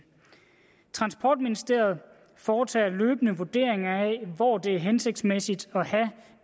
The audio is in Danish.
transportministeriet foretager løbende vurderinger af hvor det er hensigtsmæssigt at have